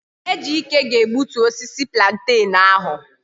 Ejike ga egbutu osisi plantain ahu